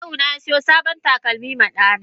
Kawuna yasiyo sabon takalmi ma Dana.